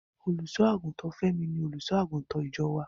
Olùṣọ́-àgùntàn Fẹ́mi ni Olùṣọ́-àgùntàn ìjọ wá.